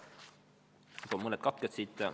Toon mõned katked siit.